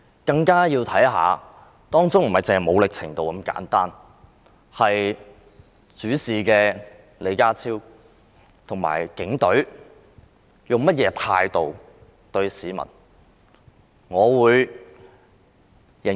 更需要知道的，不僅是所使用的武力程度，還有主事的李家超和警隊以甚麼態度對待市民。